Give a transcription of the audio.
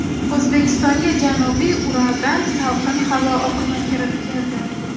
O‘zbekistonga janubiy Uraldan salqin havo oqimi kirib keldi.